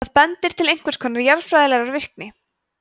það bendir til einhvers konar jarðfræðilegrar virkni